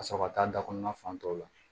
Ka sɔrɔ ka taa da kɔnɔna fan dɔw la